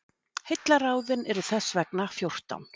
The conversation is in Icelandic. heillaráðin eru þess vegna fjórtán